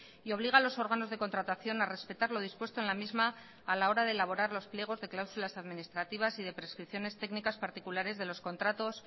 y obliga a los órganos de contratación a respetar lo dispuesto en la misma a la hora de elaborar los pliegos de cláusulas administrativas y de prescripciones técnicas particulares de los contratos